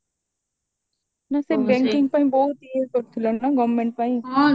ନା ସେ banking ପାଇଁ ବହୁତ ଇଏ କରୁଥିଲା ନା government ପାଇଁ